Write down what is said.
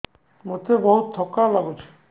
ମୋତେ ବହୁତ୍ ଥକା ଲାଗୁଛି